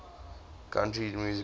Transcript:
country music hall